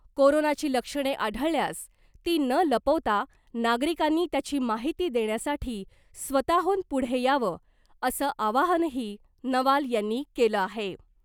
कोरोनाची लक्षणे आढळल्यास ती न लपवता नागरिकांनी त्याची माहिती देण्यासाठी स्वताहून पुढे यावं असं आवाहनही नवाल यांनी केलं आहे .